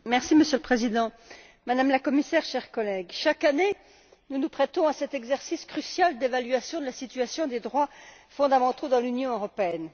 Monsieur le Président, Madame la Commissaire, chers collègues, chaque année, nous nous prêtons à cet exercice crucial d'évaluation de la situation des droits fondamentaux dans l'Union européenne.